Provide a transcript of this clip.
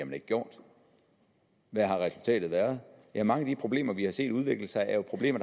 man ikke gjort hvad har resultatet været ja mange af de problemer vi har set udvikle sig er jo problemer